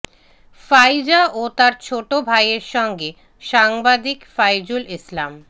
ফাইজা ও তার ছোট ভাইয়ের সঙ্গে সাংবাদিক ফাইজুল ইসলাম